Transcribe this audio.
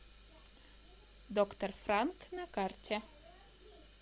доктор франк на карте